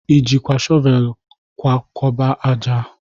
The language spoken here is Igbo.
Ị jikwa shọvel kwakọba ájá?